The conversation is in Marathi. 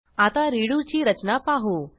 आता रेडो ची रचना पाहू